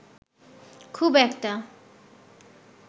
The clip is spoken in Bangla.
খুব একটা